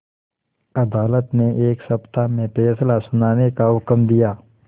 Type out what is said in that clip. अदालत ने एक सप्ताह में फैसला सुनाने का हुक्म दिया